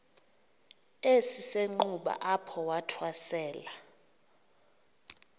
esisenxuba apho wathwasela